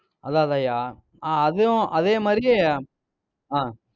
அதான் அதான்ய்யா? ஆஹ் அதுவும் அதே மாதிரி ஆஹ்